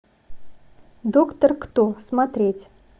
доктор кто смотреть